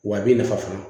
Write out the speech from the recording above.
Wa a b'i nafa fana